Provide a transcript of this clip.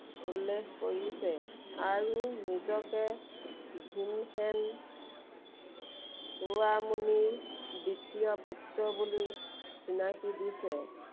উল্লেখ কৰিছে। আৰু নিজকে ভীনসেন চৌড়ামুনিৰ দ্বিতী. পুত্ৰ বুলি চিনাকি দিছে।